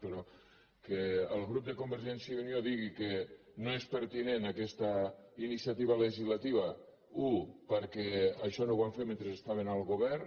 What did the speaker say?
però que el grup de convergència i unió digui que no és pertinent aquesta iniciativa legislativa un perquè això no ho van fer mentre estaven al govern